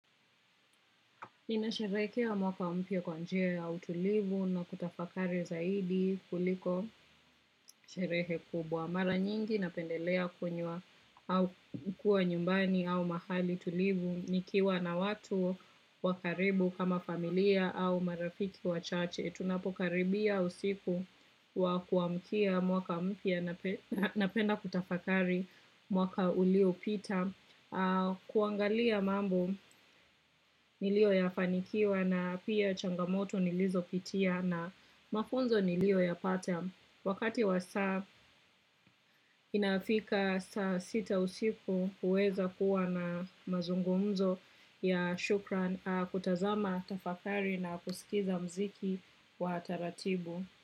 Ninasherekea mwaka mpia kwa njia ya utulivu na kutafakari zaidi kuliko sherehe kubwa. Mara nyingi napendelea kwenyea au kuwa nyumbani au mahali tulivu nikiwa na watu wakaribu kama familia au marafiki wachache. Tunapokaribia usiku wa kuamkia mwaka mpia na penda kutafakari mwaka ulio pita. Kuangalia mambo nilio yafanikiwa na pia changamoto nilizo pitia na mafunzo nilio ya pata wakati wasa inafika sa sita usiku uweza kuwa na mazungumzo ya shukran kutazama tafakari na kusikiza mziki wa taratibu.